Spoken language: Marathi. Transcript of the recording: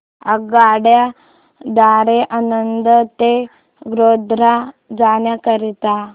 आगगाडी द्वारे आणंद ते गोध्रा जाण्या करीता